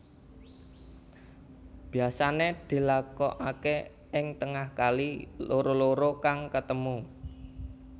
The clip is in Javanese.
Biasané dilakokaké ing tengah kali loro loro kang ketemu